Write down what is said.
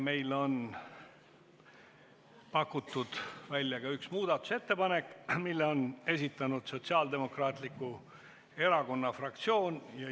Meil on pakutud välja ka üks muudatusettepanek, mille on esitanud Sotsiaaldemokraatliku Erakonna fraktsioon.